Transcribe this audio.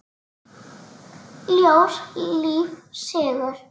Ljós, líf, sigur.